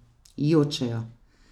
Jočejo.